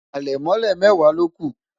alemole mẹwa loku